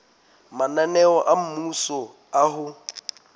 mananeo a mmuso a ho